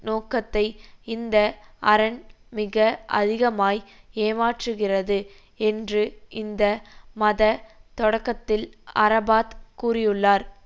நோக்கத்தை இந்த அரண் மிக அதிகமாய் ஏமாற்றுகிறது என்று இந்த மத தொடக்கத்தில் அரபாத் கூறியுள்ளார்